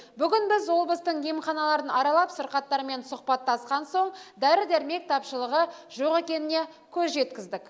бүгін біз облыстың емханаларын аралап сырқаттармен сұхбаттасқан соң дәрі дәрмек тапшылығы жоқ екеніне көз жеткіздік